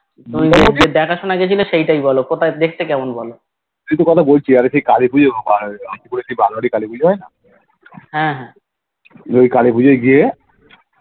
দেখাশুনা গেছে সেটাই বলো কোথায় দেখতে কেমন বলো হে হে